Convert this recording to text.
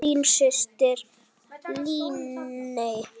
Þín systir, Líney.